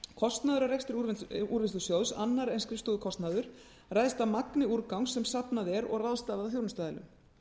kostnaður af rekstri úrvinnslusjóðs annar en skrifstofukostnaður ræðst af magni úrgangs sem safnað er og ráðstafað af þjónustuaðilum